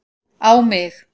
á mig.